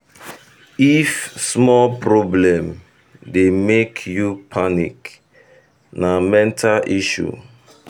if um small problem dey make you um panic na mental health issue.